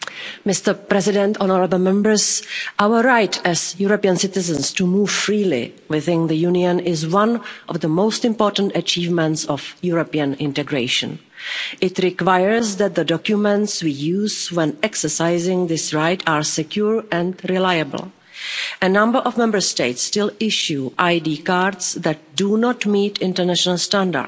Mr President, our right as European citizens to move freely within the Union is one of the most important achievements of European integration. It requires that the documents we use when exercising this right are secure and reliable. A number of Member States still issue ID cards that do not meet international standards.